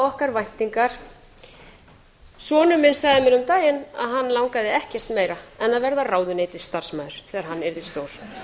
okkar væntingar sonur minn sagði mér um daginn að hann langaði ekkert meira en að verða ráðuneytisstarfsmaður þegar hann yrði stór